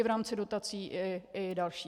I v rámci dotací i dalších.